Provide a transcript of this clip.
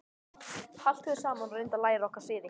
Haltu þér saman og reyndu að læra okkar siði.